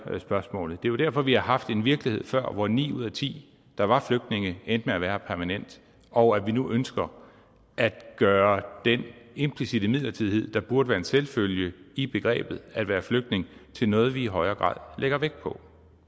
spørgsmålet jo derfor vi har haft en virkelighed før hvor ni ud af ti der var flygtninge endte med at være her permanent og at vi nu ønsker at gøre den implicitte midlertidighed der burde være en selvfølge i begrebet at være flygtning til noget vi i højere grad lægger vægt på